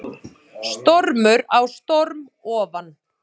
Stormur á storm ofan